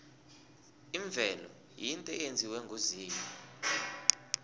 imvelo yinto eyenziwe nguzimu